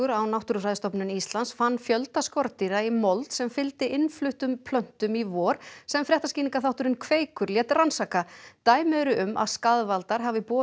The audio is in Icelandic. á Náttúrufræðistofnun Íslands fann fjölda skordýra í mold sem fylgdi innfluttum plöntum í vor sem fréttaskýringaþátturinn Kveikur lét rannsaka dæmi eru um að skaðvaldar hafi borist